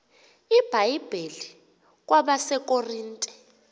ibhayibhile kwabase korinte